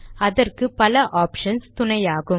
அதற்கு பல ஆப்ஷன்ஸ் துணையாகும்